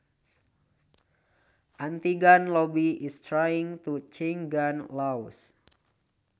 anti gun lobby is trying to change gun laws